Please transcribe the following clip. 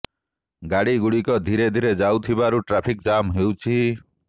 ଗାଡ଼ି ଗୁଡ଼ିକ ଧୀରେ ଧୀରେ ଯାଉଥିବାରୁ ଟ୍ରାଫିକ୍ ଜାମ୍ ହେଉଛି